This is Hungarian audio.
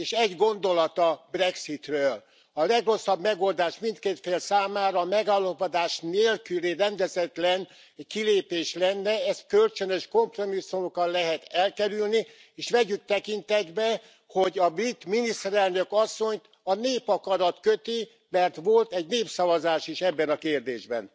És egy gondolat a brexitről a legrosszabb megoldás mindkét fél számára a megállapodás nélküli rendezetlen kilépés lenne, ezt kölcsönös kompromisszumokkal lehet elkerülni. És vegyük tekintetbe, hogy a brit miniszterelnök asszonyt a népakarat köti, mert volt egy népszavazás is ebben a kérdésben.